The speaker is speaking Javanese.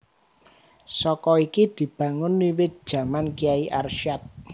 Saka iki dibangun wiwit jaman Kyai Arsyad